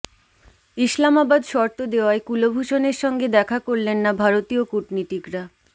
ইসলামাবাদ শর্ত দেওয়ায় কুলভূষণের সঙ্গে দেখা করলেন না ভারতীয় কূটনীতিকরা